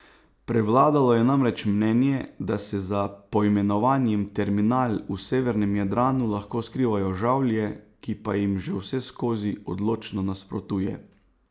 Prevladalo je namreč mnenje, da se za poimenovanjem terminal v Severnem Jadranu lahko skrivajo Žavlje, ki pa jim že vseskozi odločno nasprotuje.